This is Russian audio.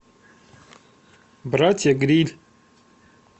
братья грилль